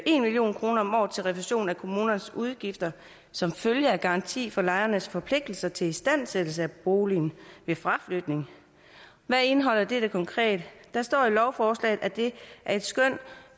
en million kroner om året til refusion af kommunernes udgifter som følge af garanti for lejernes forpligtelser til istandsættelse af boligen ved fraflytning hvad indeholder dette konkret der står i lovforslaget at det er et skøn